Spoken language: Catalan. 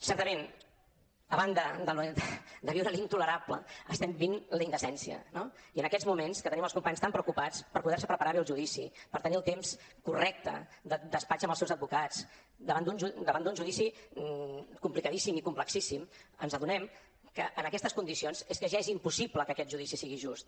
certament a banda de viure l’intolerable estem vivint la indecència no i en aquests moments que tenim els companys tan preocupats per poder se preparar bé el judici per tenir el temps correcte de despatx amb els seus advocats davant d’un judici complicadíssim i complexíssim ens adonem que en aquestes condicions és que ja és impossible que aquest judici sigui just